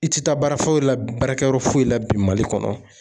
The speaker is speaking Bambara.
I tɛ taa baara foyi la baarakɛyɔrɔ foyi la bi Mali kɔnɔ